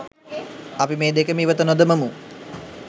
අපි මේ දෙකම ඉවත නොදමමු.